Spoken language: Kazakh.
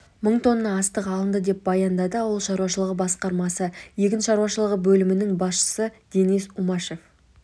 мың тонна астық алынды деп баяндады ауыл шаруашылығы басқармасы егін шаруашылығы бөлімінің басшысы денис умашев